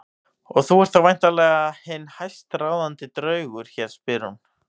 Og þú ert þá væntanlega hinn hæstráðandi draugur hér, spyr hún.